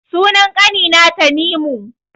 Sunan ƙani na Tanimu